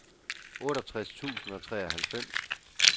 otteogtres tusind og treoghalvfems